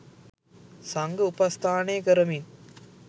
සංඝ උපස්ථානය කරමින්